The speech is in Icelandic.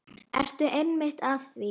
Ertu ekki einmitt að því?